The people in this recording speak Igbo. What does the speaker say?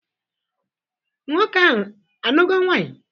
Nwoke ahụ anugo nwaanyị?